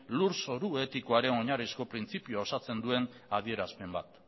lurzoru etikoaren oinarrizko printzipioa osatzen duen adierazpen bat